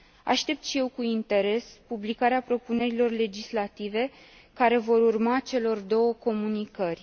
Aștept și eu cu interes publicarea propunerilor legislative care vor urma celor două comunicări.